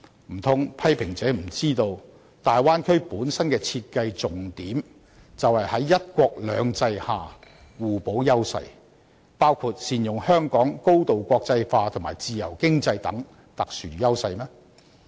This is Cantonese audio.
難道批評者不知道，大灣區本身的設計重點，就是要在"一國兩制"下互補優勢，包括善用香港高度國際化及自由經濟等特殊優勢嗎？